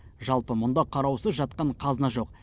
жалпы мұнда қараусыз жатқан қазына жоқ